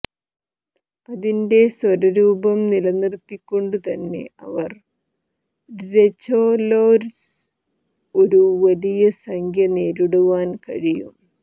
അതിന്റെ സ്വര രൂപം നിലനിർത്തിക്കൊണ്ടുതന്നെ അവർ രെചൊലൊര്സ് ഒരു വലിയ സംഖ്യ നേരിടുവാൻ കഴിയും